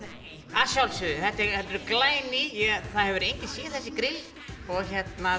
að sjálfsögðu þau eru glæný það hefur enginn séð þessi grill og